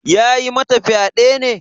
Ya yi mata fyade ne?